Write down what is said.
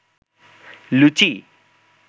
লুচি